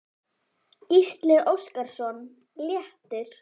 Gísli Óskarsson: Léttir?